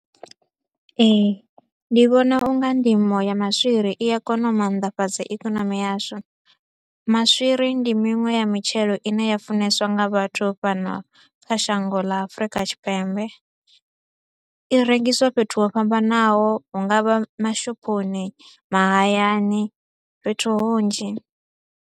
Ee, ndi vhona u nga ndimo ya maswiri i a kona u maanḓafhadza ikonomi yashu, maswiri ndi miṅwe ya mitshelo i ne ya funeswa nga vhathu fhano kha shango ḽa Afurika Tshipembe. I rengiswa fhethu ho fhambanaho, hu nga vha mashophoni, mahayani, fhethu hunzhi.